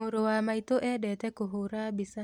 Mũrũ wa maitũ endete kũhũra mbica